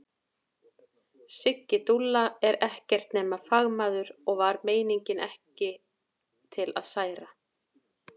Siggi dúlla er ekkert nema fagmaður og var meiningin ekki til að særa.